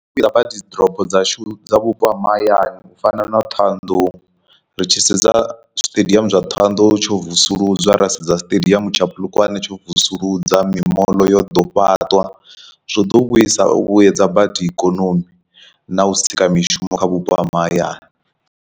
Nḓila badi ḓorobo dzashu dza vhupo ha mahayani u fana na thohoyandou ri tshi sedza siṱediamu zwa thohoyandou tsho vusuludzwa, ra sedza siṱediamu tsha polokwane tsho vusuludza mimoḽo yo ḓo fhaṱwa zwo ḓo vhuisa u vhuyedza badi ikonomi na u sika mishumo kha vhupo ha mahayani.